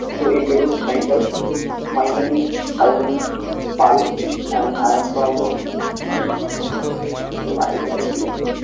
to introduce myself. my name is fahim pal and i am from তোর বাড়ি কোথায়? কি জানি?